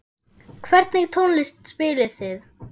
Hvernig tónlist spilið þið?